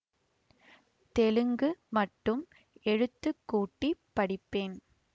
தெலுங்கு மட்டும் எழுத்துக் கூட்டி படிப்பேன்